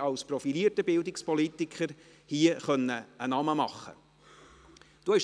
als profilierter Bildungspolitiker hier einen Namen machen können.